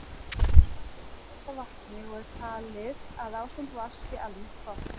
Ísland er auðugt af vatni og er talið að ástand vatns sé almennt gott.